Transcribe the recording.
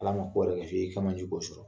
Ala ma i kɛ man k'o sɔrɔ